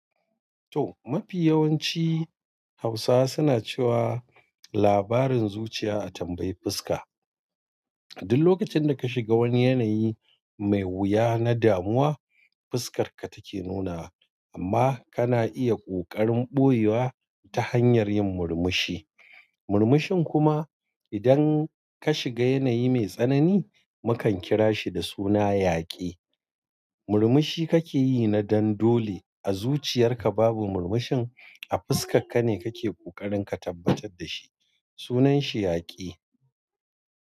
To, mafi yawanci Hausawa suna cewa labarin zuciya a tambayi fuska. Duk lokacin da ka shiga wani yanayi mai wuya na damuwa, fuskarka take nuna amma kana iya ƙoƙarin ɓoyewa ta hanyar yin murmushi. Murmushin kuma idan ka shiga yanayi mai tsanani, mukan kira shi da suna yaƙi. Murmushi kake yi na dan dole a zuciyar ka babu murmushin a fuskarka ne kake ƙoƙarin ka tabbatar da shi. Sunan shi yaƙi.